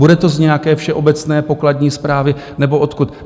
Bude to z nějaké všeobecné pokladní správy nebo odkud?